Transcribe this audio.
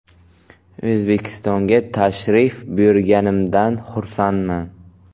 O‘zbekistonga tashrif buyurganimdan xursandman.